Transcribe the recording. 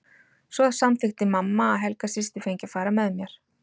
Svo samþykkti mamma að Helga systir fengi að fara með mér.